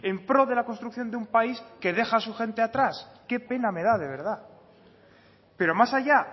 en pro de la construcción de un país que deja a su gente atrás qué pena me da de verdad pero más allá